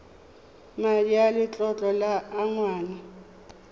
madi a letlole a ngwana